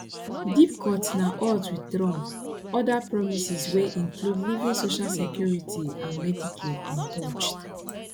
deep cuts na odds wit trump oda promises wey include leaving social security and medicare untouched